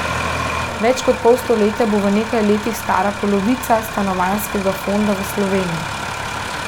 Več kot pol stoletja bo v nekaj letih stara polovica stanovanjskega fonda v Sloveniji.